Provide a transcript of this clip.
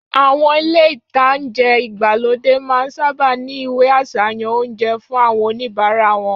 Àwọn ilé-ìtánjẹ igbalode máa n sáábà ní ìwé àsàyàn oúnjẹ fun awon onibara won